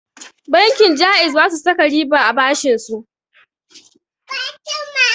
Bankin ja'iz basu saka riba a bashinsu